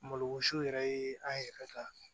Malosi yɛrɛ ye an yɛrɛ ka